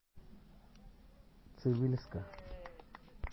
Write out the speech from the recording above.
цивильска